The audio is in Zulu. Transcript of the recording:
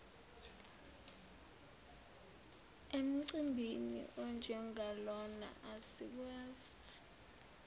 emcimbini onjengalona asikwazi